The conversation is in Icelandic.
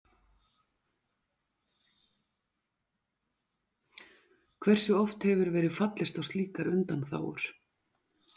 Hversu oft hefur verið fallist á slíkar undanþágur?